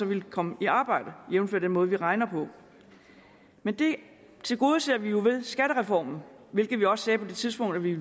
ville komme i arbejde jævnfør den måde vi regner på men det tilgodeser vi jo med skattereformen hvilket vi også sagde på det tidspunkt vi ville